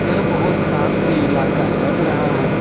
यह बहुत शांत ही इलाका लग रहा है।